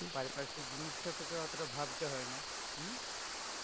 পারিপার্শ্বিক জিনিস টা তোকে অতটা ভাবতে হই না, হম